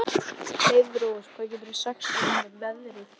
Heiðrós, hvað geturðu sagt mér um veðrið?